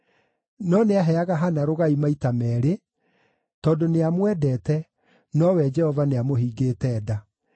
No nĩaheaga Hana rũgai maita meerĩ, tondũ nĩamwendete, nowe Jehova nĩamũhingĩte nda.